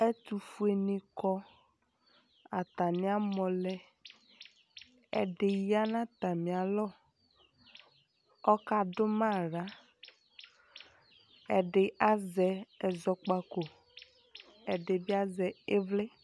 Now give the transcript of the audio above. Ɛtufueni kɔ, atani amɔ lɛƐdi ya natamialɔ kɔka dʋ ma aɣlaƐdi azɛ ɛzɔkpakoƐdibi azɛ ivli